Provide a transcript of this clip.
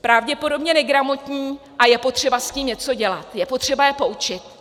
pravděpodobně negramotní a je potřeba s tím něco dělat, je potřeba je poučit.